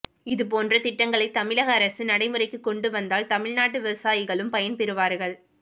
இது போன்ற திட்டங்களைத் தமிழக அரசு நடைமுறைக்குக் கொண்டு வந்தால் தமிழ் நாட்டு விவசாயிகளும் பயன்பெறுவார்கள்